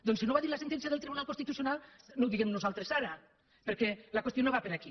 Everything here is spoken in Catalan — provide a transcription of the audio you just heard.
doncs si no ho va dir la sentència del tribunal constitucional no ho diguem nosaltres ara perquè la qüestió no va per aquí